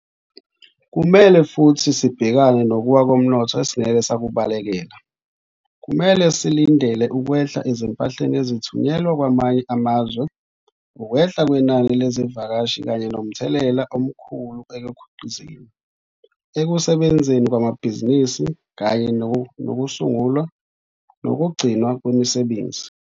Kumele futhi sibhekane nokuwa komnotho esingeke sakubalekela. Kumele silindele ukwehla ezimpahleni ezithunyelwa kwamanye amazwe, ukwehla kwenani lezivakashi kanye nomthelela omkhulu ekukhiqizeni, ekusebenzeni kwamabhizinisi kanye nokusungulwa nokugcinwa kwemisebenzi.